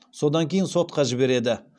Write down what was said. содан кейін сотқа жібереді